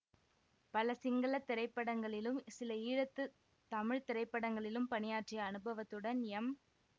பல சிங்கள திரைப்படங்களிலும் சில ஈழத்து தமிழ் திரைப்படங்களிலும் பணியாற்றிய அனுபவத்துடன் எம்